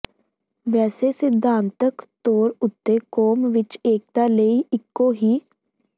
ਵੈਸੇ ਸਿਧਾਂਤਕ ਤੌਰ ਉੱਤੇ ਕੌਮ ਵਿੱਚ ਏਕਤਾ ਲਈ ਇੱਕੋ ਹੀ